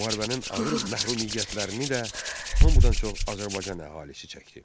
Müharibənin ağır məhrumiyyətlərini də hamıdan çox Azərbaycan əhalisi çəkdi.